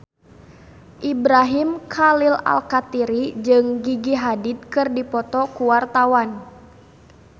Ibrahim Khalil Alkatiri jeung Gigi Hadid keur dipoto ku wartawan